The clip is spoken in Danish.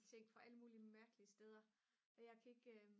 ting fra alle mulige mærkelige steder og jeg kan ikke